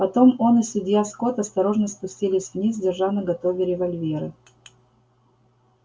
потом он и судья скотт осторожно спустились вниз держа наготове револьверы